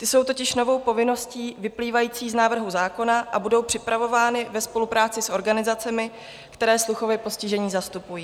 Ty jsou totiž novou povinností vyplývající z návrhu zákona a budou připravovány ve spolupráci s organizacemi, které sluchově postižené zastupují.